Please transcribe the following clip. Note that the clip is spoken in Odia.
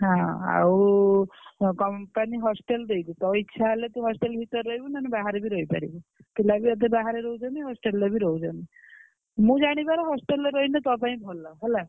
ହଁ ଆଉ company hostel ଦେଇଛି ତୋ ଇଛା ହେଲେ ତୁ hostel ରେ ରହିବୁ ନହେଲେ ବାହାରେ ବି ରହିପାରିବୁ ପିଲା ବି ଅଧେ ବାହାରେ ରହୁଛନ୍ତି hostel ରେ ବି ରହୁଛନ୍ତି ମୁଁ ଜାଣିବାରେ hostel ରେ ରହିଲେ ତୋ ପାଇଁ ଭଲ ହେଲା।